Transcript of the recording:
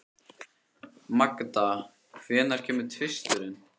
Magda, hvenær kemur tvisturinn?